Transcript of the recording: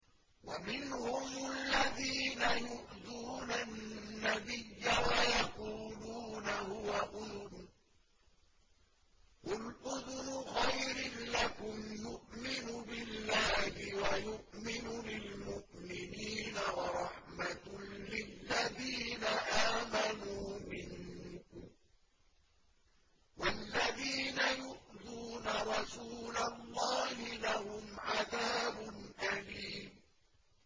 وَمِنْهُمُ الَّذِينَ يُؤْذُونَ النَّبِيَّ وَيَقُولُونَ هُوَ أُذُنٌ ۚ قُلْ أُذُنُ خَيْرٍ لَّكُمْ يُؤْمِنُ بِاللَّهِ وَيُؤْمِنُ لِلْمُؤْمِنِينَ وَرَحْمَةٌ لِّلَّذِينَ آمَنُوا مِنكُمْ ۚ وَالَّذِينَ يُؤْذُونَ رَسُولَ اللَّهِ لَهُمْ عَذَابٌ أَلِيمٌ